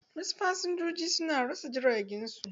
Wasu fasinjoji su na rasa jiragen su.